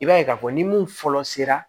I b'a ye k'a fɔ ni mun fɔlɔ sera